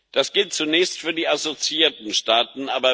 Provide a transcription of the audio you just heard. Das gilt zunächst für die assoziierten Staaten.